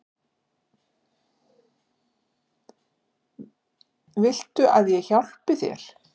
Viltu að ég hjálpi þér?